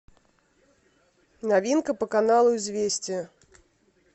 новинка по каналу известия